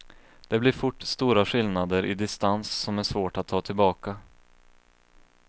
Det blir fort stora skillnader i distans som är svårt att ta tillbaka.